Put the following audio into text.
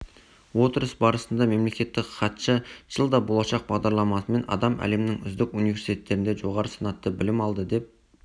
отырыс барысында мемлекеттік хатшы жылда болашақ бағдарламасымен адам әлемнің үздік университеттерінде жоғары санатты білім алды деп